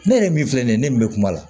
Ne yɛrɛ min filɛ nin ye ne min bɛ kuma la